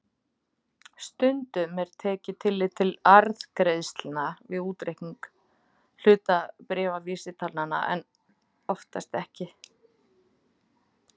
Stundum er tekið tillit til arðgreiðslna við útreikning hlutabréfavísitalna en oftast ekki.